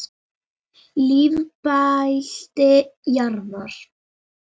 Lífbelti jarðar.